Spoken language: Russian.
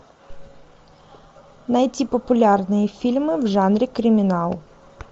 найти популярные фильмы в жанре криминал